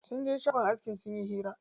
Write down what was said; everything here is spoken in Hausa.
Sun je shagon aski sun yi hira.